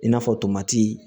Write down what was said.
I n'a fɔ tomati